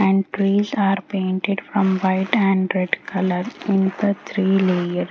and trees are painted from white and red color in the three layer .